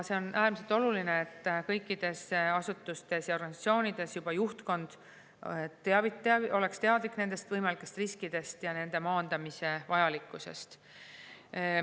On äärmiselt oluline, et kõikides asutustes ja organisatsioonides oleks juba juhtkond teadlik võimalikest riskidest ja nende maandamise vajalikkusest.